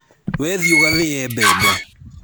We thiĩ ugathĩĩe mbembe